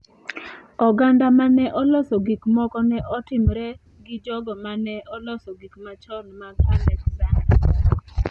Oganda ma ne oloso gik moko ne otimre gi jogo ma ne oloso gik machon mag Alexander.